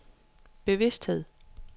bevidsthed